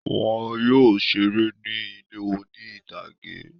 Wọn yóò ṣeré ní ilé oní-ìtàgé.